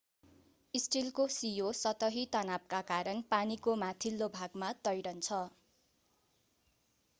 स्टिलको सियो सतही तनावका कारण पानीको माथिल्लो भागमा तैरन्छ